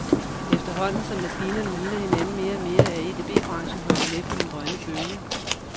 Efterhånden, som maskinerne ligner hinanden mere og mere, er EDB branchen hoppet med på den grønne bølge.